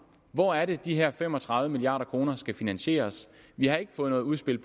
hvor er det de her fem og tredive milliard kroner skal finansieres vi har ikke fået noget udspil